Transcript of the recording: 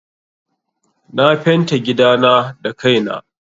Na fenta gidana da kai na.